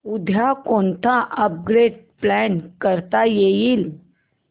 उद्या कोणतं upgrade plan करता येईल